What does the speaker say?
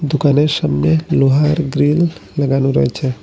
দোকানের সামনে লোহার গ্রিল লাগানো রয়েছে।